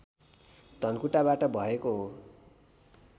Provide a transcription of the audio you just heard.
धनकुटाबाट भएको हो